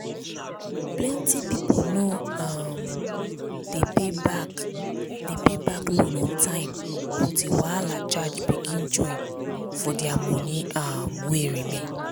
plenty pipu no um dey pay back dey pay back loan on time until wahala charge begin join for their money um wey remain.